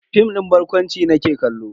Fim din barkwanci nake kallo.